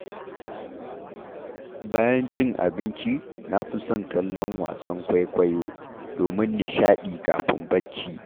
Bayan cin abinci, na fi son kallon wasan kwaikwayo, domin nishaɗi kafin barci.